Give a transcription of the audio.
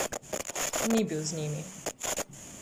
Ni bil z njimi.